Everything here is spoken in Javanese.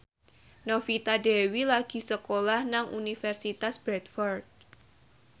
Novita Dewi lagi sekolah nang Universitas Bradford